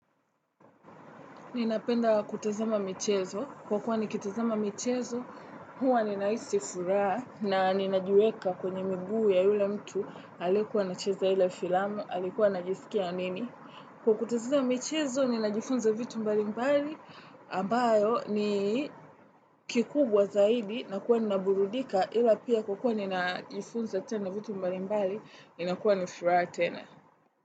Ninapenda kutazama michezo. Kwa kuwa nikitazama michezo, huwa ninahisi furaha na ninajiweka kwenye miguu ya yule mtu, aliyekuwa anacheza ile filamu, alikuwa anajisikia nini. Kwa kutazama michezo, ninajifunza vitu mbali mbali, ambayo ni kikubwa zaidi, na kuwa nina burudika ila pia kwa kuwa ninajifunza tena vitu mbali mbali, nina kuwa nifuraha tena.